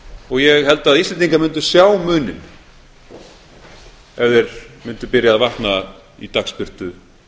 og ég held að íslendingar mundu sjá muninn ef þeir mundu byrja að vakna í dagsbirtu